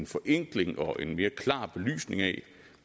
forenkling og en mere klar belysning af